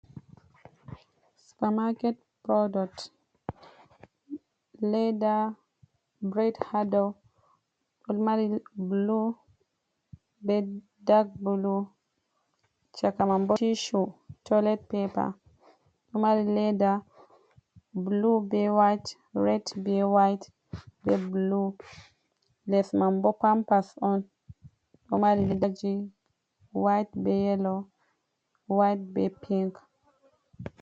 Supermarket product, ledda breid ha dou ɗo mari blu, be dag bulu, cakah man bo tissue, toilet paper ɗo mari ledda blu, be white, red, be white, be blu. Les man bo pampas on ɗo mari ledaji white, be yelo, white be pink.